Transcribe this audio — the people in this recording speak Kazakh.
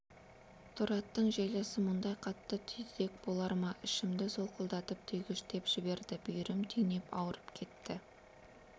торы аттың желісі мұндай қатты түйдек болар ма ішімді солқылдатып түйгіштеп жіберді бүйірім түйнеп ауырып кетті